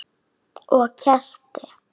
Og kerti.